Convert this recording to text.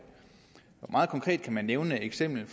meget konkret kan man nævne et eksempel